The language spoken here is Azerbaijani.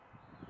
Allah!